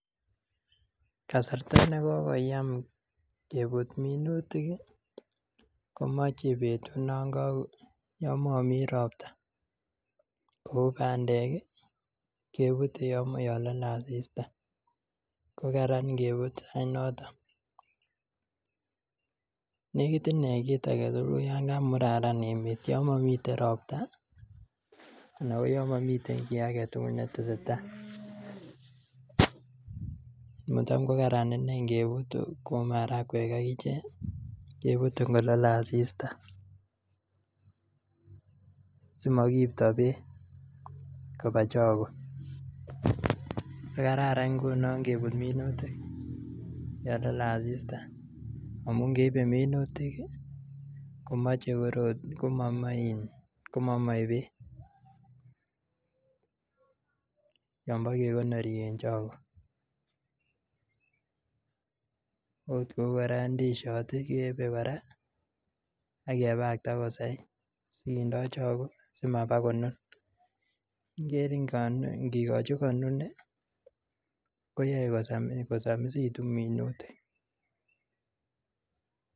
Kasarta ne kokoyam kebut minutik komoche betut yon momi ropta kou bandek kebute yon lole asisita kokaran ingebute any en yoto. Negit ine kit age tugul yan kamuraran emet yon momiten ropta anan koyon momiten kit age tugul netesetai, macham kokaran iney ingebut kou marakwek ak ichek kebute kollole asista simakiibto beek koba chogo. So kararan ngunonkebut minutik yon ole asiista amuningeibe minutik komoche komomoe beek, yonbo kekonori en chogo ot kora kou ndisiot keyebe kora ak kebakakta kosai si kindo chogo simabakonun. Igere ingikochi konun koyae kosomisitu minutik